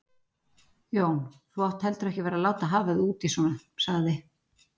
Jón, þú átt heldur ekki að vera að láta hafa þig út í svona sagði